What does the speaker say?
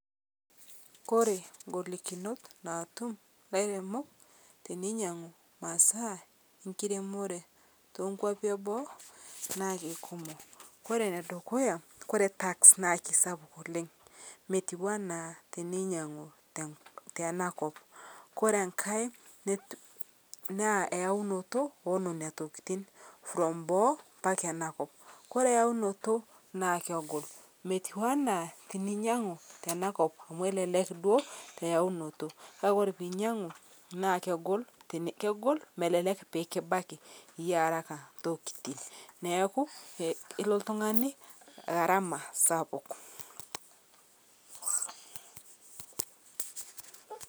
Kore ng'olikinot naatum lairemok teneinyang'u masaa enkiremore tenkuapii eboo naa keikumok, kore nedukuya kore tax naa keisapuk oleng' , metuwanaa teneinyeng'uu tana kop kore ng'hai naa einutoo enenia tokitin from boo mpaka enaa kop kore yaunotoo naa kegol metiwanaa tininyang'uu tana kop amu elelek duo eyaunotoo kakee kore piinyang'u naa kegol melelek pikibakii yie haraka ntokitin neakuu ilo ltung'ani ng'arama sapuk.